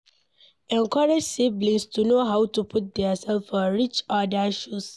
Encourage siblings to know how to put their self for each oda shoes